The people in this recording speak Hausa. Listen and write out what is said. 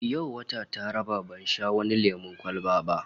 Yau wata tara ban sha wani lemon kwalba ba